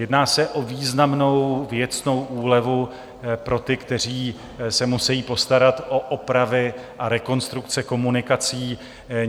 Jedná se o významnou věcnou úlevu pro ty, kteří se musejí postarat o opravy a rekonstrukce komunikací.